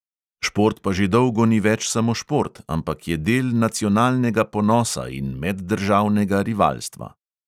Šport pa že dolgo ni več samo šport, ampak je del nacionalnega ponosa in meddržavnega rivalstva.